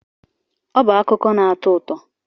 Ọ bụ akụkọ na-atọ ụtọ.